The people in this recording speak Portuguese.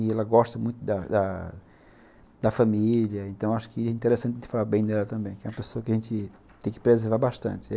E ela gosta muito da da família, então acho que é interessante falar bem dela também, que é uma pessoa que a gente tem que preservar bastante.